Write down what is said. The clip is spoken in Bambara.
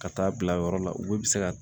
Ka taa bila yɔrɔ la olu bɛ se ka